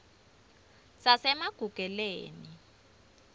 sasemagugeleni